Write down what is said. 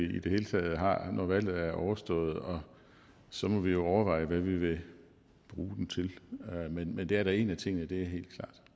vi i det hele taget har når valget er overstået og så må vi overveje hvad vi vil bruge den til men det er da en af tingene det